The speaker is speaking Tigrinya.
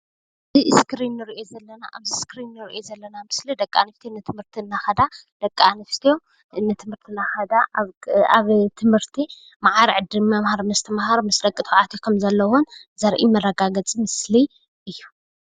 ኣብዚ እስክሪን ንሪኦ ዘለና ምስሊ ደቂ ኣንስትዮ ንትምህርቲ እናኸዳ ኣብ ትምህርቲ ማዕረ ዕድል ምምሃር ምስትምሃር ምስ ደቂ ተባዕትዮ ከምዘለወን ዘርኢ መረጋገፂ ምስሊ እዩ፡፡